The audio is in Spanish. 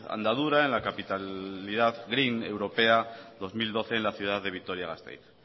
andadura en la capitalidad green europea dos mil doce en la ciudad de vitoria gasteiz